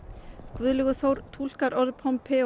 Guðlaugur Þór túlkar orð